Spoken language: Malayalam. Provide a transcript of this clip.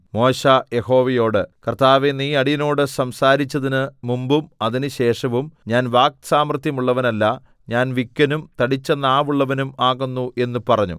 മോശെ യഹോവയോട് കർത്താവേ നീ അടിയനോട് സംസാരിച്ചതിന് മുമ്പും അതിനുശേഷവും ഞാൻ വാക്സാമർത്ഥ്യമുള്ളവനല്ല ഞാൻ വിക്കനും തടിച്ച നാവുള്ളവനും ആകുന്നു എന്ന് പറഞ്ഞു